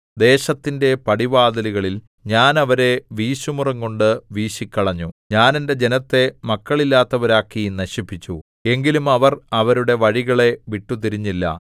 ദേശത്തിന്റെ പടിവാതിലുകളിൽ ഞാൻ അവരെ വീശുമുറംകൊണ്ടു വീശിക്കളഞ്ഞു ഞാൻ എന്റെ ജനത്തെ മക്കളില്ലാത്തവരാക്കി നശിപ്പിച്ചു എങ്കിലും അവർ അവരുടെ വഴികളെ വിട്ടുതിരിഞ്ഞില്ല